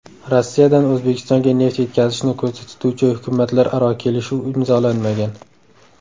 Rossiyadan O‘zbekistonga neft yetkazishni ko‘zda tutuvchi hukumatlararo kelishuv imzolanmagan.